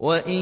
وَإِن